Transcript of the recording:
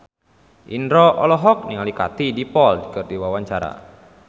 Indro olohok ningali Katie Dippold keur diwawancara